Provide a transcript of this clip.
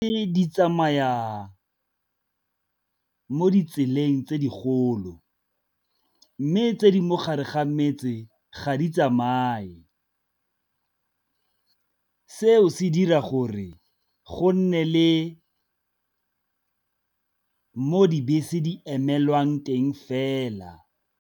di tsamaya mo ditseleng tse digolo mme tse di mogare ga metse ga di tsamaye, seo se dira gore go nne le Mo dibese di emelwang teng fela.